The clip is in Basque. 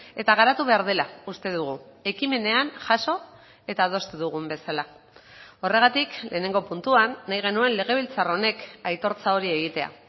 eta garatu behar dela uste dugu ekimenean jaso eta adostu dugun bezala horregatik lehenengo puntuan nahi genuen legebiltzar honek aitortza hori egitea